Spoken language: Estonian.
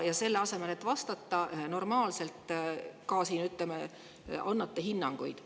Ja selle asemel, et vastata normaalselt, annate ka siin hinnanguid.